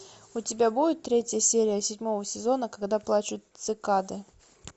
у тебя будет третья серия седьмого сезона когда плачут цикады